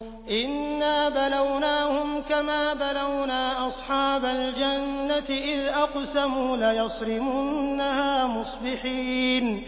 إِنَّا بَلَوْنَاهُمْ كَمَا بَلَوْنَا أَصْحَابَ الْجَنَّةِ إِذْ أَقْسَمُوا لَيَصْرِمُنَّهَا مُصْبِحِينَ